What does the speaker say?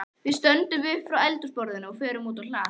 Við stöndum upp frá eldhúsborðinu og förum út á hlað.